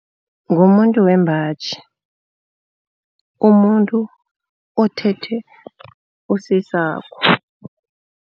Ngumuntu wembaji. Umuntu othethe usesakho.